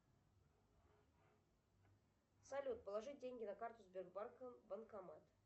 салют положить деньги на карту сбербанка банкомат